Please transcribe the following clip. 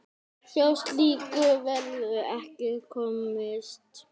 Hjá slíku verður ekki komist.